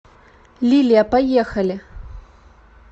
лилия поехали